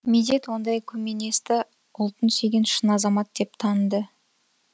медет ондай көменесті ұлтын сүйген шын азамат деп таныды